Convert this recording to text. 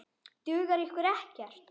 Dugar ykkur ekkert?